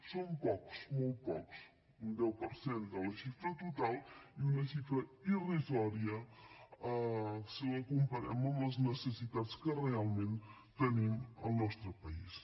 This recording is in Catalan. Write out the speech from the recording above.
són pocs molt pocs un deu per cent de la xifra total i una xifra irrisòria si la comparem amb les necessitats que realment tenim al nostre país